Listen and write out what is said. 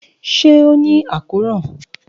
ṣe o ni akoran?